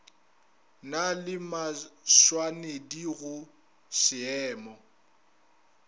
na le mašwanedi go šeemo